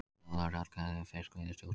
Þjóðaratkvæði um fiskveiðistjórnun